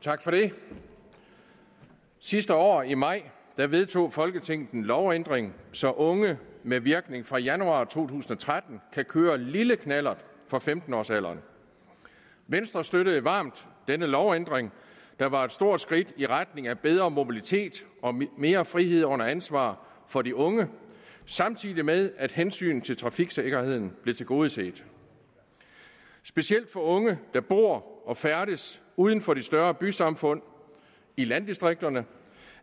tak for det sidste år i maj vedtog i folketinget en lovændring så unge med virkning fra januar to tusind og tretten kan køre en lille knallert fra femten års alderen venstre støttede varmt denne lovændring der var et stort skridt i retning af bedre mobilitet og mere frihed under ansvar for de unge samtidig med at hensynet til trafiksikkerheden blev tilgodeset specielt for unge der bor og færdes uden for de større bysamfund i landdistrikterne